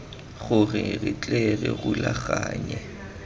gore re tle re rulaganye